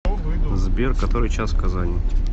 сбер который час в казани